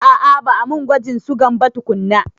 A'a ba a mun gwajin sugan ba tukunna.